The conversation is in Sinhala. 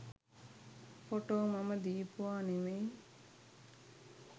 ෆොටෝ මම දීපුවා නෙමෙයි.